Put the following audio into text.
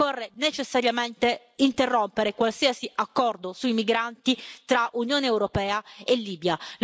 Occorre necessariamente interrompere qualsiasi accordo sui migranti tra Unione europea e Libia.